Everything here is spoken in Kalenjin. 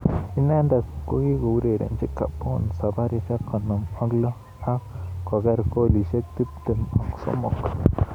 Inendet kiko urerenji Gabon sabarishek konom ak lo ak koker kolishek tip tem ak somok.